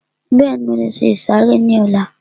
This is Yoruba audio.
Bẹ́ẹ̀ni, mo lè se ìsàrẹ́ ní ọlá